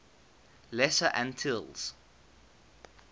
lesser antilles